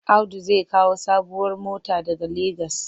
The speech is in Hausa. Audu zai kawo sabuwar mota daga Legas.